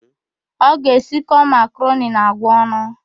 Ọ ga-esikọ makaroni na àgwà ọnụ.